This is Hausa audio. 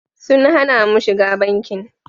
Sun hana mu shiga bankin.